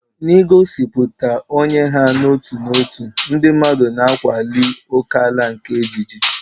N'igosipụta onye ha n'otu n'otu, ndị mmadụ na-akwali ókèala nke ejiji.